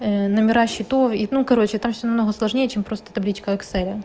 номера счетов и ну короче там всё намного сложнее чем просто табличка экселя